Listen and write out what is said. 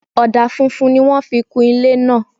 Ọ̀dà funfun ni wọ́n fi kun ilé náà